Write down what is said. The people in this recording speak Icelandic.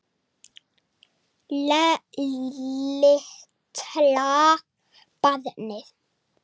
Litla barnið.